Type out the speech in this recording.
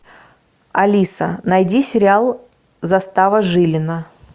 алиса найди сериал застава жилина